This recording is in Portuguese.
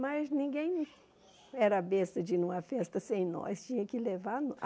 Mas ninguém era besta de ir numa festa sem nós. Tinha que levar a